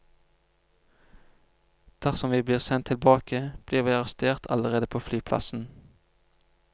Dersom vi blir sendt tilbake, blir vi arrestert allerede på flyplassen.